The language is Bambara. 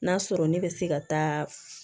N'a sɔrɔ ne bɛ se ka taa